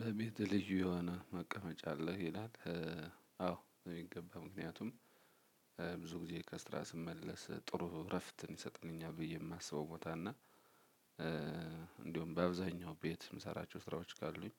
በቤትህ ልዩ የሆነ መቀመጫ አለህ? ይላል። አዎ የሚገባ ምክንያቱም ብዙ ጊዜ ከስራ ስመለስ ጥሩ እረፍትን ይሰጥልኛል ብዬ የማስበው ቦታ እና- በአብዛኛው ቤት የምሰራቸው ስራዎች ካሉኝ-